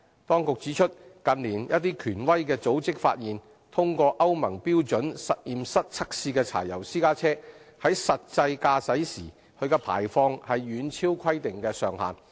當局指出，近年一些權威組織發現，通過歐盟標準實驗室測試的柴油私家車，在實際駕駛時的排放遠超規定上限。